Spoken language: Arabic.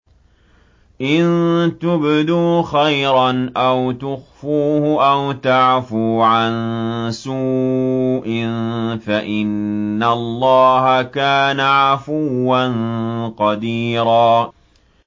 إِن تُبْدُوا خَيْرًا أَوْ تُخْفُوهُ أَوْ تَعْفُوا عَن سُوءٍ فَإِنَّ اللَّهَ كَانَ عَفُوًّا قَدِيرًا